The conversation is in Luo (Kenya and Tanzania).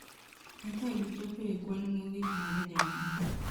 Eka gichopo e kwan mogik mar jamni.